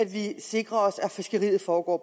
vi sikrer os at fiskeriet foregår